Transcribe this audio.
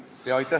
Aitäh!